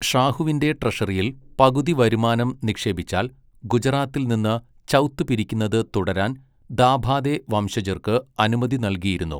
ഷാഹുവിന്റെ ട്രഷറിയിൽ പകുതി വരുമാനം നിക്ഷേപിച്ചാൽ ഗുജറാത്തിൽ നിന്ന് ചൗത്ത് പിരിക്കുന്നത് തുടരാൻ ദാഭാദെ വംശജർക്ക് അനുമതി നൽകിയിരുന്നു.